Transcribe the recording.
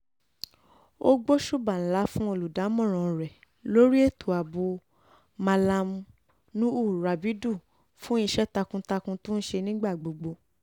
ó gbóṣùbà ńlá fún olùdámọ̀ràn rẹ̀ lórí ètò ààbò mallam nuhu rabidu fún iṣẹ́ takuntakun tó ń ṣe nígbà gbogbo